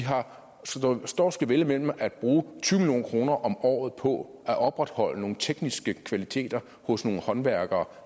står og skal vælge mellem at bruge tyve million kroner om året på at opretholde nogle tekniske færdigheder hos nogle håndværkere